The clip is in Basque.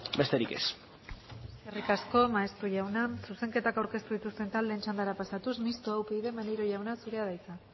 besterik ez eskerrik asko maeztu jauna zuzenketak aurkeztu dituzten taldeen txandara pasatuz mistoa upyd maneiro jauna zurea da hitza